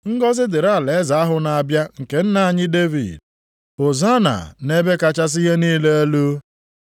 “Ngọzị dịrị alaeze ahụ na-abịa nke nna anyị Devid!” “Hozanna nʼebe kachasị ihe niile elu!”